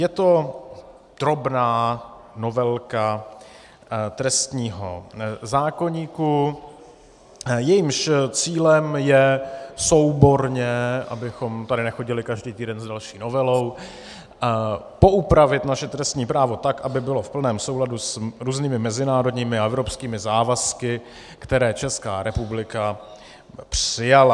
Je to drobná novelka trestního zákoníku, jejímž cílem je souborně, abychom tady nechodili každý týden s další novelou, poupravit naše trestní právo tak, aby bylo v plném souladu s různými mezinárodními a evropskými závazky, které Česká republika přijala.